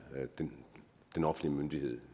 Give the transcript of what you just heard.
den offentlige myndighed